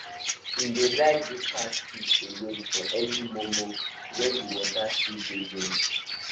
he dey like go catch fish alone for early mor mor when the water still dey gentle